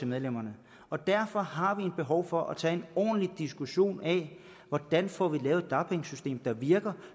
medlemmerne derfor har vi et behov for at tage en ordentlig diskussion af hvordan vi får lavet et dagpengesystem der virker